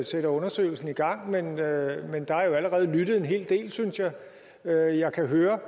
sætter undersøgelsen i gang men der er jo allerede lyttet en hel del synes jeg at jeg kan høre